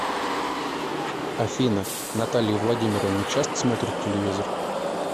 афина наталья владимировна часто смотрит телевизор